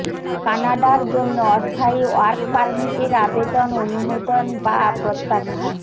কানাডার জন্য অস্থায়ী ওয়ার্ক পারমিটের আবেদন অনুমোদন বা প্রত্যাখ্যান